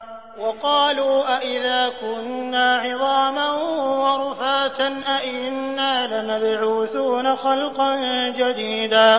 وَقَالُوا أَإِذَا كُنَّا عِظَامًا وَرُفَاتًا أَإِنَّا لَمَبْعُوثُونَ خَلْقًا جَدِيدًا